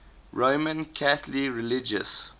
roman catholic religious